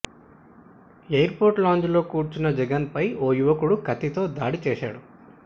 air port lounge లో కూర్చున్న జగన్ పై ఓ యువకుడు కత్తితో దాడి చేశాడు